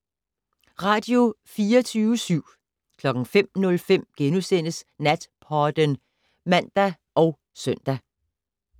Radio24syv